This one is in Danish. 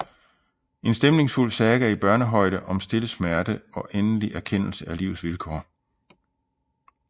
En stemningsfuld saga i børnehøjde om stille smerte og endelig erkendelse af livets vilkår